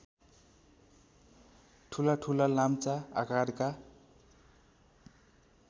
ठूलाठूला लाम्चा आकारका